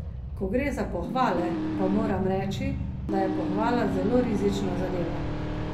Ko gre za pohvale pa moram reči, da je pohvala zelo rizična zadeva.